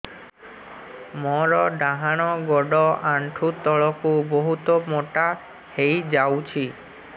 ମୋର ଡାହାଣ ଗୋଡ଼ ଆଣ୍ଠୁ ତଳକୁ ବହୁତ ମୋଟା ହେଇଯାଉଛି